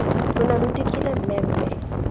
lo ne lo dikile mmemme